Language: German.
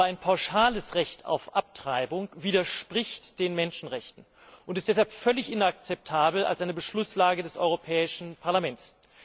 Aber ein pauschales Recht auf Abtreibung widerspricht den Menschenrechten und ist deshalb völlig inakzeptabel als eine Beschlusslage des Europäischen Parlaments.